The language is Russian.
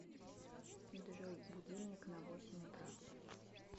джой будильник на восемь утра